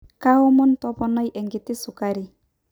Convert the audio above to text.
kaomon toponai enkiti sukari